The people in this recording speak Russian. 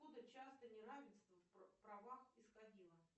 откуда часто неравенство в правах исходило